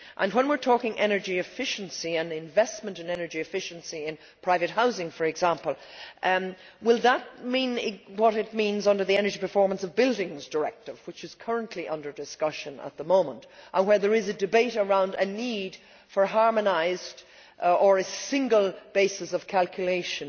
When we are talking energy efficiency and investment in energy efficiency in private housing, for example, will that mean what it means under the Energy Performance of Buildings Directive, which is currently under discussion at the moment and where there is a debate around a need for harmonised or a single basis of calculation,